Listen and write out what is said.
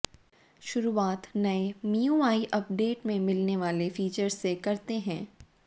शुरुआत नए MIUI update में मिलने वाले फीचर्स से करते हैं